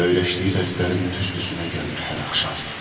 Öyrəşdiyi dərdlərin tüstüsünə gəlir hər axşam.